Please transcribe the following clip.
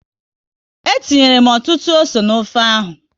Etinyere m ọtụtụ ose n'ofe ahụ